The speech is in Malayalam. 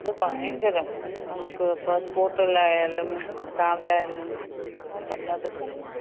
ഓ, അത് ഭയങ്കരം. നമുക്കിപ്പം സ്കൂട്ടറിലായാലും കാറിലായാലും വല്ലാത്ത ബുദ്ധിമുട്ട്.